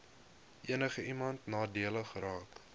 enigiemand nadelig geraak